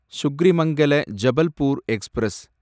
சுக்ரிமங்கெல Jabalpur express